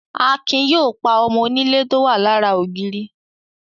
Akin yóò pa ọmọ onílé tó wà lára ògiri.